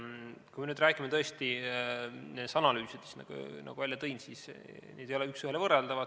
Kui nüüd räägime tõesti nendest analüüsidest, mis ma esile tõin, siis need ei ole üks ühele võrreldavad.